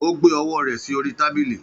Ó gbé ọwọ́ rẹ̀ sí orí tábìlì.